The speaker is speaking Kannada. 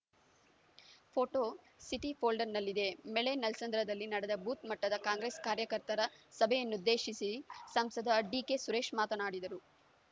ಫೋಟೋ ಸಿಟಿ ಫೋಲ್ಡರ್‌ನಲ್ಲಿದೆ ಮೆಳೆ ನಲ್ಲಸಂದ್ರದಲ್ಲಿ ನಡೆದ ಬೂತ್‌ ಮಟ್ಟದ ಕಾಂಗ್ರೆಸ್‌ ಕಾರ್ಯಕಯರ್ತರ ಸಭೆಯನ್ನುದ್ದೇಶಿಸಿ ಸಂಸದ ಡಿಕೆ ಸುರೇಶ್‌ ಮಾತನಾಡಿದರು